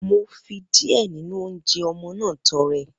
Mo fi díẹ̀ nínú oúnjẹ ọmọ náà tọrẹ.